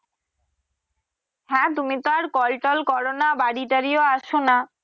হ্যা তুমি তো আর call টল করো না বাড়ি টাড়িও আসো না।